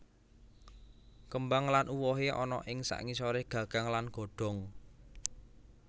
Kembang lan uwohe ana ing sangisore gagang lan godhong